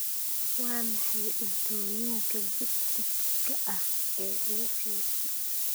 Waa maxay cuntooyinka buskudka ah ee ugu fiican?